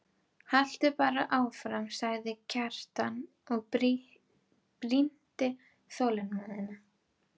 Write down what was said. Haltu bara áfram, sagði Kjartan og brýndi þolinmæðina.